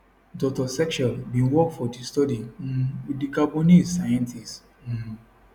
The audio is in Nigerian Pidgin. dr setchell bin work for di study um wit di gabonese scientists um